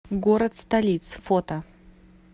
город столиц фото